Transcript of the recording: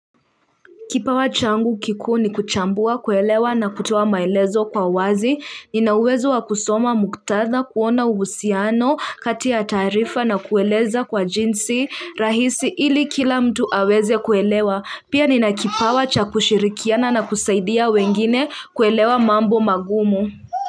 Kipawa changu kikuu ni kuchambua kuelewa na kutoa maelezo kwa wazi, ninauwezo wa kusoma muktatha kuona uhusiano kati ya taarifa na kueleza kwa jinsi rahisi ili kila mtu aweze kuelewa, pia nina kipawa cha kushirikiana na kusaidia wengine kuelewa mambo magumu.